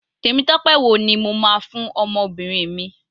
Temitope wo ni mo máa fún ọmọbìnrin mi.